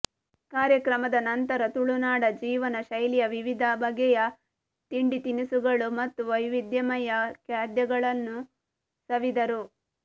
ಕಾರ್ಯಕ್ರಮದ ನಂತರ ತು ಳುನಾಡ ಜೀವನ ಶೈಲಿಯ ವಿವಿಧ ಬಗೆಯ ತಿಂಡಿತಿನಿಸುಗಳು ಮತ್ತು ವೈವಿಧ್ಯಮಯ ಖಾದ್ಯಗಳನ್ನು ಸವಿದರು